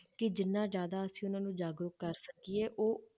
ਕਿ ਜਿੰਨਾ ਜ਼ਿਆਦਾ ਅਸੀਂ ਉਹਨਾਂ ਨੂੰ ਜਾਗਰੂਕ ਕਰ ਸਕੀਏ ਉਹ